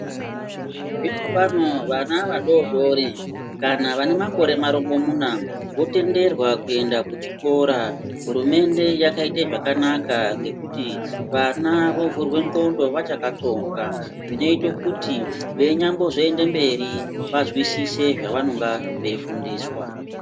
Zvinopano vana vadodori kana vane makore marongomuna votenderwa kuenda kuchikora, hurumende yakaite zvakanaka ngokuti vana vovhurwa ndxondo vachakatsonga zvinoito kuti veinyambozomboende mberi vazwisise zvavanenge veifundiswa.